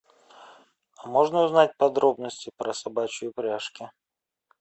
можно узнать подробности про собачьи упряжки